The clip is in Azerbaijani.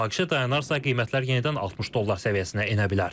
Münaqişə dayanarsa, qiymətlər yenidən 60 dollar səviyyəsinə enə bilər.